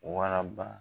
Wala ba